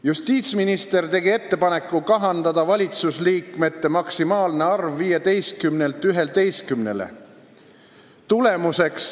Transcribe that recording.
"Justiitsminister tegi ettepaneku kahandada valitsusliikmete maksimaalne arv 15-lt 11-le.